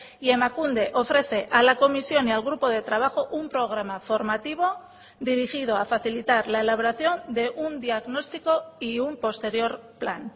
y emakunde ofrece a la comisión y al grupo de trabajo un programa formativo dirigido a facilitar la elaboración de un diagnóstico y un posterior plan